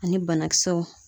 Ani banakisɛw